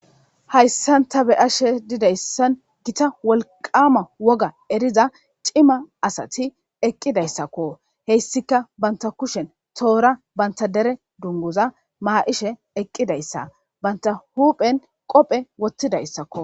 Haysan ta beyashe didaysan Gita wolqama woga eriza cima asat eqidaysako. Heysika banta kushen tora banta dere woga dunguza mayshe eqidaysa , banta huphen qophe wothidaysako.